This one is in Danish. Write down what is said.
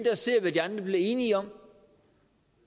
og ser hvad de andre bliver enige om